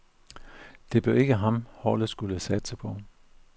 Det blev ikke ham, holdet skulle satse på.